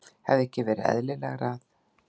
Hefði ekki verið eðlilegra að